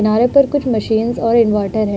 किनारे पर कुछ माशीन्स और एक इनवर्टर है।